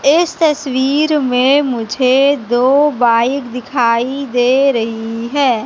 इस तस्वीर में मुझे दो बाइक दिखाई दे रही है।